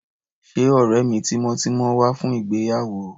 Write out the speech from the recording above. Ṣé ọ̀rẹ́ mi tímọ́tímọ́ wá fún ìgbéyàwó?